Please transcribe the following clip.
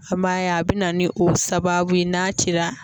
An b'a ye a bɛ na ni o sababu ye n'a cira.